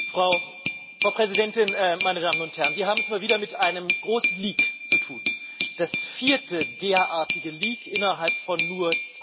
Frau Präsidentin, meine Damen und Herren! Wir haben es mal wieder mit einem großen Leak zu tun, dem vierten derartigen Leak innerhalb von nur zwei Jahren.